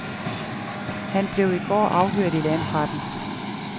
Han blev i går afhørt i landsretten.